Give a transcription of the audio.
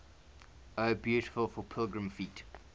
o beautiful for pilgrim feet